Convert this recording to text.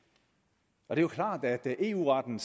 det er jo klart at eu retten